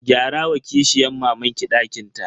Gyara wa kishiyan mamanki dakin ta.